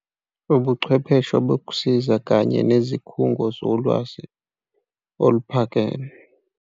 Ubuchwepheshe bokusiza kanye nezikhungo zolwazi oluphakeme.